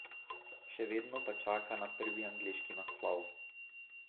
Še vedno pa čaka na prvi angleški naslov.